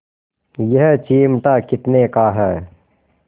यह चिमटा कितने का है